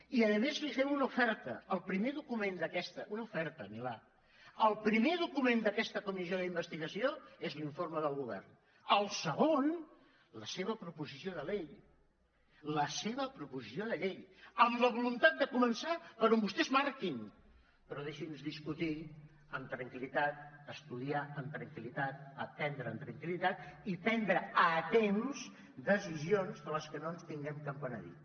i a més li fem una oferta una oferta milà el primer document d’aquest comissió d’investigació és l’informe del govern el segon la seva proposició de llei la seva proposició de llei amb la voluntat de començar per on vostès marquin però deixi’ns discutir amb tranquil·litat estudiar amb tranquil·litat aprendre amb tranquil·litat i prendre a temps decisions de les quals no ens tinguem de penedir